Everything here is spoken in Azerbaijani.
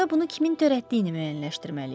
Onda bunu kimin törətdiyini müəyyənləşdirməliyik.